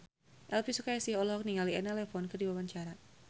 Elvy Sukaesih olohok ningali Elena Levon keur diwawancara